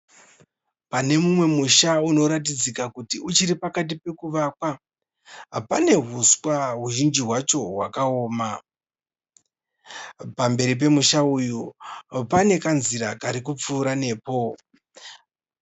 Pane mumwe musha unoratidzika kuti uchiri pakati pekuvakwa, pane huswa huzhinji hwacho hwakaoma, pamberi pemusha uyu pane kanzira karikupfuura nepo.